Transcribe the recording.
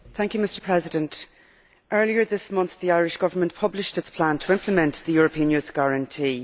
Mr President, earlier this month the Irish Government published its plan to implement the European Youth Guarantee.